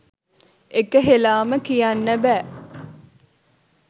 එක හෙළාම කියන්න බෑ.